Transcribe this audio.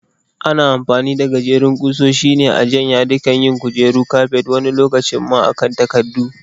Ana amfani da gajerin ƙusoshi ne a can yadikan yin kujeru, kafet wani lokacin ma a kan takadda.